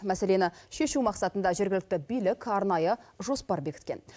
мәселені шешу мақсатында жергілікті билік арнайы жоспар бекіткен